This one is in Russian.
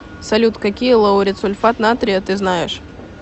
салют какие лауретсульфат натрия ты знаешь